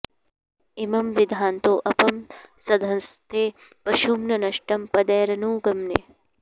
इ॒मं वि॒धन्तो॑ अ॒पां स॒धस्थे॑ प॒शुं न न॒ष्टं प॒दैरनु॑ ग्मन्